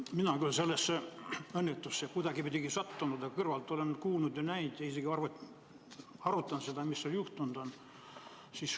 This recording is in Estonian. Mina küll sellesse õnnetusse kuidagipidi ei sattunud, aga kõrvalt olen kuulnud ja näinud ja ka arutanud seda, mis juhtus.